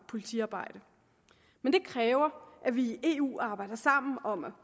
politiarbejde men det kræver at vi i eu arbejder sammen om at